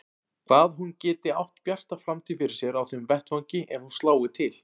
Hvað hún geti átt bjarta framtíð fyrir sér á þeim vettvangi ef hún slái til.